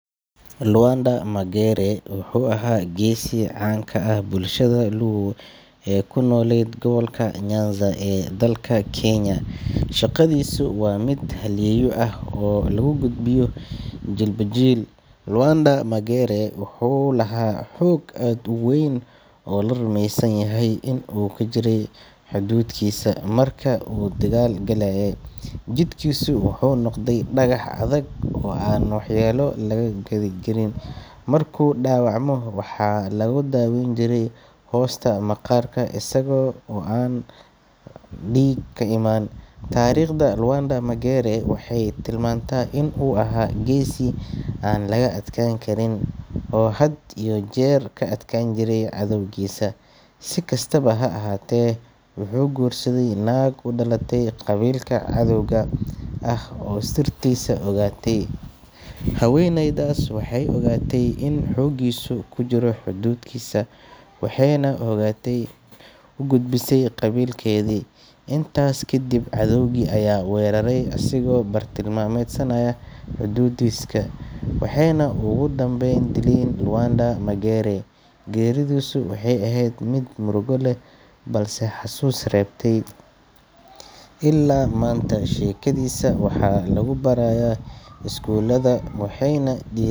Lawanda Magere wuxuu ahaa geesi caan ka ah bulshada Luo ee ku noolayd gobolka Nyanza ee dalka Kenya. Sheekadiisu waa mid halyeeyo ah oo lagu gudbiyo jiilba jiil. Lawanda Magere wuxuu lahaa xoog aad u weyn oo la rumeysan yahay inuu ku jiray hadhuudhkiisa. Marka uu dagaal galayay, jidhkiisu wuxuu noqday dhagax adag oo aan waxyeelo laga gaadhi karin. Markuu dhaawacmo, waxaa lagu daaweyn jiray hoosta maqaarka isaga oo aan dhiig ka imaan. Taariikhda Lawanda Magere waxay tilmaantaa inuu ahaa geesi aan laga adkaan karin, oo had iyo jeer ka adkaan jiray cadowgiisa. Si kastaba ha ahaatee, wuxuu guursaday naag u dhalatay qabiilka cadowga ah oo sirtiisa ogaatay. Haweeneydaas waxay ogaatay in xooggiisu ku jiro hadhuudhkiisa, waxayna xogtaas u gudbisay qabiilkeedii. Intaas ka dib, cadowgii ayaa weeraray isagoo bartilmaameedsanaya hadhuudhkiisa, waxayna ugu dambayn dileen Lawanda Magere. Geeridiisa waxay ahayd mid murugo leh balse xasuus reebtay. Illaa maanta, sheekadiisa waxaa lagu barayaa iskuulada, waxayna dhii.